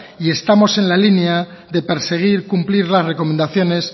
y estamos en la línea de perseguir cumplir las recomendaciones